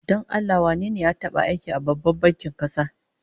Don Allah wane ne ya taba aiki a Babban bankin kasa?